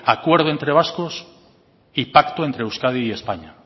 acuerdo entre vascos y pacto entre euskadi y españa